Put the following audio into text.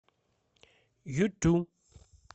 юту